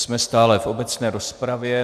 Jsme stále v obecné rozpravě.